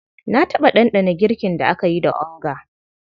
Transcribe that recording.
Na taɓa ɗanɗana girkin da aka yi da onga.